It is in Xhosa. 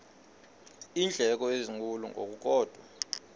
iindleko ezinkulu ngokukodwa